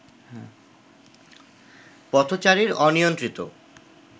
পথচারীর অনিয়ন্ত্রিত